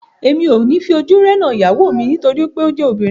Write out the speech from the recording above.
Èmi ò ní fi ojú rénà ìyàwó mi nítorí pé ó jẹ́ obìnrin